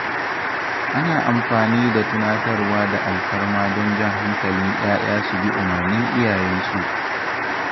Ana amfani da tunatarwa da alfarma don jan hankalin ‘ya’ya su bi umarnin iyayensu.